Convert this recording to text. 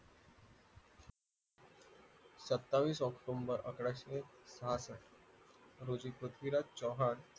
सत्तावीस ऑक्टोबर अकराशे आठ रोजी पृथ्वीराज चव्हाण